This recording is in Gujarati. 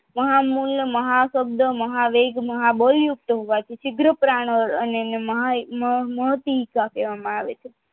મહામૂળ અને મહાશબ્દ મહાવેગ મહાબળ યુક્ત હોવાથી સીગ્ર પ્રાણ માતવી મહતી સાથે આવે છે